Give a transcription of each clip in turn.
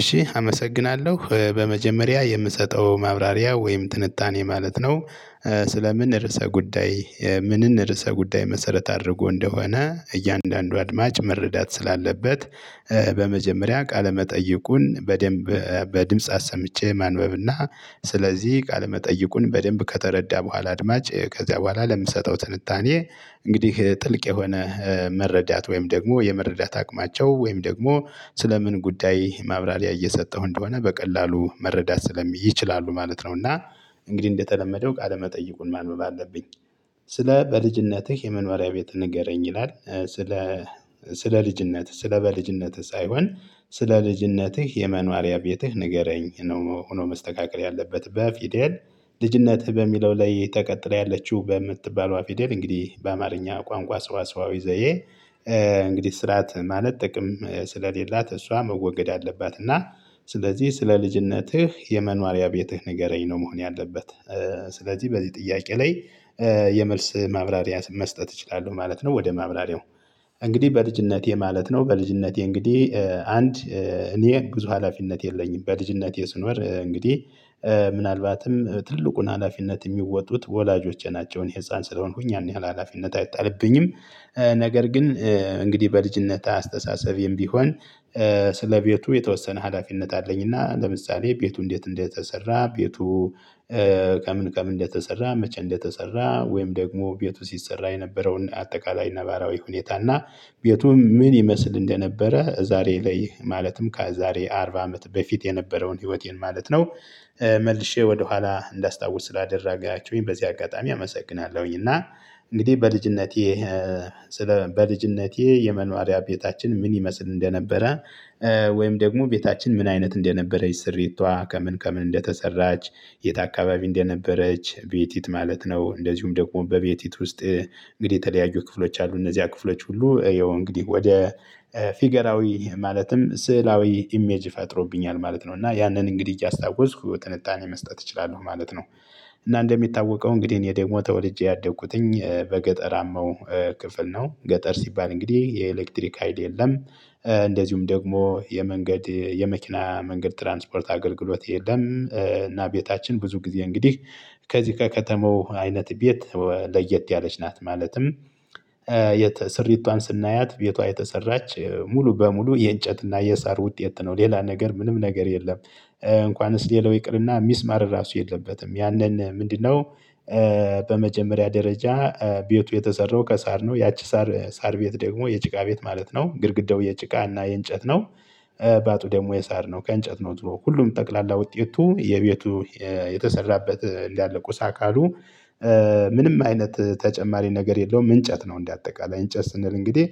እሺ አመሰግናለሁ በመጀመሪያ የምሰጠው ማብራሪያ ወይም ትንታኔ ማለት ነው። ስለ ምን ርዕሰ ጉዳይ ምንን ርዕሰ ጉዳይ መሰረት አድርጎ እንደሆነ እያንዳንዱ አድማጭ መረዳት ስላለበት። በመጀመሪያ ቃለመጠይቁን በደንብ በድምጽ አሰምቼ ማንበብና ስለዚህ ቃለመጠይቁን በደንብ ከተረዳ በኋላ አድማጭ ከዚያ በኋላ ለምሰጠው ትንታኔ እንግዲህ ጥልቅ የሆነ መረዳት ወይም ደግሞ የመረዳት አቅማቸው ወይም ደግሞ ስለ ምን ጉዳይ ማብራሪያ እየሰጠው እንደሆነ በቀላሉ መረዳት ስለሚችል ይችላሉ ማለት ነው። እና እንግዲህ እንደተለመደው ቃለመጠይቁን ማንበብ አለብኝ። ስለ በልጅነትህ የመኖሪያ ቤት ንገረኝ ይላል። ስለ ስለ ልጅነት ስለ በልጅነት ሳይሆን ስለ ልጅነትህ የመኗሪያ ቤትህ ንገረኝ ነው። ሆኖ መስተካከል ያለበት በ ፊደል ልጅነትህ በሚለው ላይ ተቀጥለው ያለችው በ ምትባለዋ ፊደል እንግዲህ በአማርኛ ቋንቋ ሰዋስዋዊ ዘዬ። እንግዲህ ስርዓት ማለት ጥቅም ስለሌላት እሷ መወገድ አለባት። እና ስለዚህ ስለ ልጅነትህ የመኗሪያ ቤትህ ንገረኝ ነው መሆን ያለበት። ስለዚህ በዚህ ጥያቄ ላይ የመልስ ማብራሪያ መስጠት እችላለሁ ማለት ነው። ወደ ማብራሪያው እንግዲህ በልጅነቴ ማለት ነው በልጅነቴ እንግዲህ አንድ እኔ ብዙ ሀላፊነት የለኝም በልጅነቴ ስኖር እንግዲህ ምናልባትም ትልቁን ሀላፊነት የሚወጡት ወላጆቼ ናቸውን እኔ ህፃን ስለሆንኩኝ ያን ያህል ሀላፊነት አይጣልብኝም። ነገር ግን እንግዲህ በልጅነት አስተሳሰቤም ቢሆን። ቤቱ የተወሰነ ሀላፊነት አለኝና ለምሳሌ ቤቱ እንዴት እንደተሰራ ቤቱ ከምን ከምን እንደተሰራ መቼ እንደተሰራ ወይም ደግሞ ቤቱ ሲሰራ የነበረውን አጠቃላይ ነባራዊ ሁኔታ እና ቤቱ ምን ይመስል እንደነበረ ዛሬ ላይ ማለትም ከዛሬ አርባ አመት በፊት የነበረውን ህይወቴን ማለት ነው። መልሼ ወደኋላ እንዳስታውስ ስላደረጋችሁኝ በዚህ አጋጣሚ አመሰግናለሁኝ። እና እንግዲህ በልጅነቴ ስለ በልጅነቴ የመኖሪያ ቤታችን ምን ይመስል እንደነበረ። ወይም ደግሞ ቤታችን ምን አይነት እንደነበረች ስሪቷ ከምን ከምን እንደተሰራች የት አካባቢ እንደነበረች ቤቲት ማለት ነው። እንደዚሁም ደግሞ በቤቲት ውስጥ እንግዲህ የተለያዩ ክፍሎች አሉ እነዚያ ክፍሎች ሁሉ ያው እንግዲህ ወደ ፊገራዊ ማለትም ስዕላዊ ኢሜጅ ፈጥሮብኛል ማለት ነው። እና ያንን እንግዲህ እያስታወስኩ ትንታኔ መስጠት እችላለሁ ማለት ነው። እና እንደሚታወቀው እንግዲህ እኔ ደግሞ ተወልጄ ያደግኩትኝ በገጠራማው ክፍል ነው። ገጠር ሲባል እንግዲህ የኤሌክትሪክ ሀይል የለም። እንደዚሁም ደግሞ የመንገድ የመኪና መንገድ ትራንስፖርት አገልግሎት የለም። እና ቤታችን ብዙ ጊዜ እንግዲህ ከዚህ ከከተማው አይነት ቤት ለየት ያለች ናት ማለትም። ስሪቷን ስናያት ቤቷ የተሰራች ሙሉ በሙሉ የእንጨትና የሳር ውጤት ነው። ሌላ ነገር ምንም ነገር የለም። እንኳንስ ሌላው ይቅርና ሚስማር ራሱ የለበትም ያንን ምንድነው? በመጀመሪያ ደረጃ ቤቱ የተሰራው ከሳር ነው ያቺ ሳር ሳር ቤት ደግሞ የጭቃ ቤት ማለት ነው። ግድግዳው የጭቃ እና የእንጨት ነው። ባቱ ደግሞ የሳር ነው ከእንጨት ነው ዝሮ ሁሉም ጠቅላላ ውጤቱ የቤቱ። የተሰራበት እንዳለ ቁስ አካሉ። ምንም አይነት ተጨማሪ ነገር የለውም እንጨት ነው እንደአጠቃላይ እንጨት ስንል እንግዲህ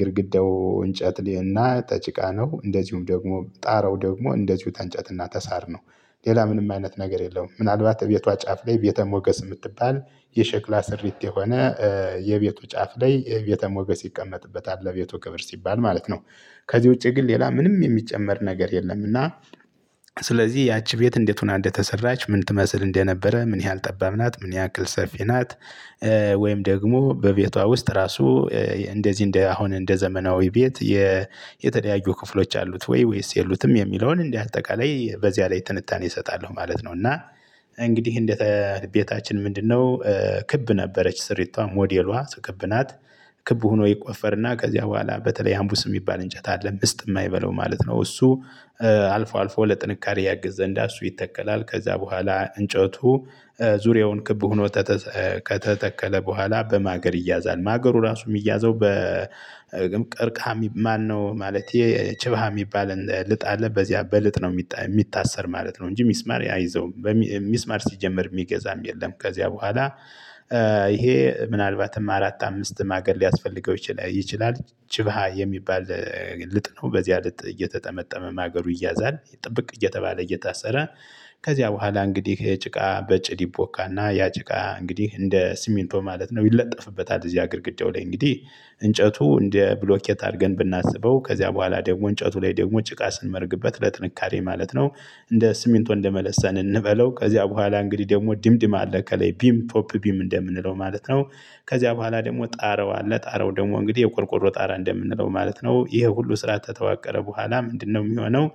ግድግዳው እንጨት ልህና ተጭቃ ነው። እንደዚሁም ደግሞ ጣራው ደግሞ እንደዚሁ ተንጨት እና ተሳር ነው። ሌላ ምንም አይነት ነገር የለውም። ምናልባት እቤቷ ጫፍ ላይ ቤተ ሞገስ የምትባል የሸክላ ስሪት የሆነ። የቤቱ ጫፍ ላይ ቤተ ሞገስ ይቀመጥበታል ለቤቱ ክብር ሲባል ማለት ነው። ከዚህ ውጪ ግን ሌላ ምንም የሚጨመር ነገር የለም። እና ስለዚህ ያቺ ቤት እንዴት ሆና እንደተሰራች ምን ትመስል እንደነበረ ምን ያህል ጠባብ ናት ምን ያክል ሰፊ ናት። ወይም ደግሞ በቤቷ ውስጥ ራሱ እንደዚህ እንደ አሁን እንደ ዘመናዊ ቤት የ የተለያዩ ክፍሎች አሉት ወይ ወይስ የሉትም የሚለውን እንዲህ አጠቃላይ በዚያ ላይ ትንታኔ እሰጣለሁ ማለት ነው። እና እንግዲህ እንደተቤታችን ምንድነው? ክብ ነበረች ስሪቷ ሞዴሏ ስክብ ናት ክብ ሆኖ ይቆፈርና ከዚያ በኋላ በተለይ አምቡስ የሚባል እንጨት አለ ምስጥ የማይበላው ማለት ነው። እሱ አልፎ አልፎ ለጥንካሬ ያግዝ ዘንድ እሱ ይተከላል ከዛ በኋላ እንጨቱ ዙርያውን ክብ ሆኖ ከተተከለ በኋላ በማገር ይያዛል። ማገሩ ራሱ የሚያዘው በቅርቅሃሚ ማነው ማለቴ ጭብሃ የሚባል ልጣለ በዚያ በልጥ ነው የሚታሰር ማለት ነው። እንጂ ሚስማር አይዘው። ሚስማር ሲጀመር ሚገዛም የለም ከዚያ በኋላ። ይሄ ምናልባትም አራት አምስት ማገል ሊያስፈልገው ይችላል። ጭብሃ የሚባል ልጥ ነው በዚህያ ልጥ እየተጠመጠመ ማገሩ ይያዛል ጥብቅ እየተባለ እየታሰረ። ከዚያ በኋላ እንግዲህ ጭቃ በጭድ ይቦካና ያ ጭቃ እንግዲህ እንደ ስሚንቶ ማለት ነው ይለጠፍበታል። እዚያ ግድግዳው ላይ እንግዲህ። እንጨቱ እንደ ብሎኬት አርገን ብናስበው ከዚያ በኋላ ደግሞ እንጨቱ ላይ ደግሞ ጭቃ ስንመርግበት ለጥንካሬ ማለት ነው። እንደ ስሚንቶ እንደመለሰን እንበለው ከዚያ በኋላ እንግዲህ ደግሞ ድምድም አለ ከለይ ቢም ፖፕ ቢም እንደምንለው ማለት ነው። ከዚያ በኋላ ደግሞ ጣረው አለ ጣረው ደግሞ እንግዲህ የቆርቆሮ ጣራ እንደምንለው ማለት ነው። ይሄ ሁሉ ስራ ተተዋቀረ በኋላ ምንድነው የሚሆነው